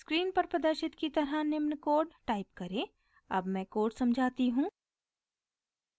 screen पर प्रदर्शित की तरह निम्न कोड टाइप करें अब मैं कोड समझाती हूँ